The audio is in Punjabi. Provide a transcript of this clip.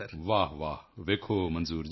ਵਾਹਵਾਹ ਵੇਖੋ ਮੰਜ਼ੂਰ ਜੀ